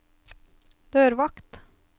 dørvakt